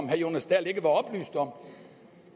herre jonas dahl ikke var oplyst om